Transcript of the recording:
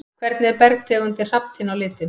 Hvernig er bergtegundin hrafntinna á litinn?